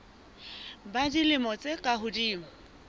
ba dilemo tse ka hodimo